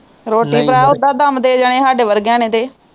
ਰੋਟੀ ਭਾਅ ਉਦਾਂ ਗਮ ਦੇ ਜਾਣੇ ਹੈ ਸਾਡੇ ਵਰਗਿਆਂ ਨੇ